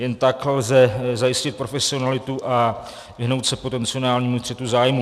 Jen tak lze zajistit profesionalitu a vyhnout se potenciálnímu střetu zájmů.